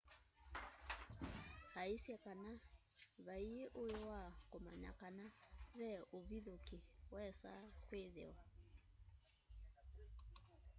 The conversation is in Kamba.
aisye kana vaĩi ũĩ wa kũmanya kana ve ũvithũkĩ wesaa kwĩthĩwa